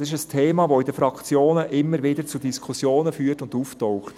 Dies ist ein Thema, das in den Fraktionen immer wieder zu Diskussionen führt und auftaucht.